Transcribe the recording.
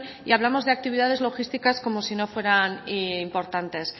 y hablamos de actividades logísticas como si no fueran importantes